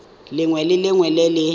lengwe le lengwe le le